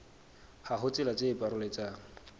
ha ho tsela tse paroletsang